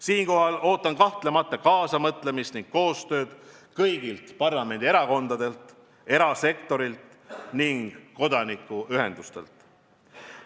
Siinkohal ootan kaasamõtlemist ning koostööd kõigilt parlamendierakondadelt, erasektorilt ja kodanikuühendustelt.